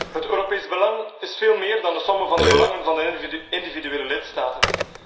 Het Europees belang is veel meer dan de sommen van de belangen van de individuele lidstaten.